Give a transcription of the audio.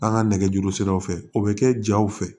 An ka nɛgɛjuru siraw fɛ o bɛ kɛ jaw fɛ